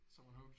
Så er man hooked?